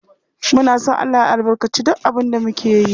Muna son Allah ya albarkaci duk abin da muke yi.